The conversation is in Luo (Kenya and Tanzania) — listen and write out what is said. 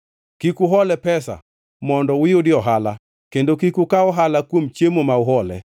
Kik uhole pesa mondo uyudie ohala, kendo kik ukaw ohala kuom chiemo ma uhole.